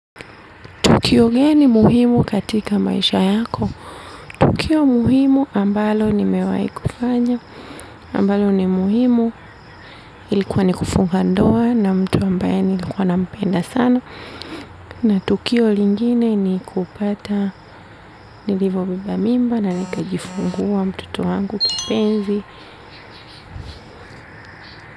Tukio geni muhimu katika maisha yako. Tukio muhimu ambalo nimewai kufanya. Ambalo ni muhimu ilikuwa ni kufunga ndoa na mtu ambaye nilikuwa nampenda sana. Na tukio lingine ni kupata nilivobeba mimba na nikajifungua mtoto wangu kipenzi.